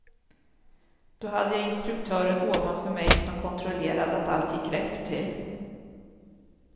Då hade jag instruktören ovanför mig som kontrollerade att allt gick rätt till.